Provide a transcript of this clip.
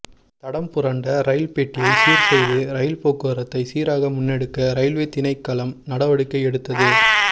தடம்புரண்ட ரயில் பெட்டியை சீர்செய்து ரயில் போக்குவரத்தை சீராக முன்னெடுக்க ரயில்வே திணைக்களம் நடவடிக்கை எடுத்தது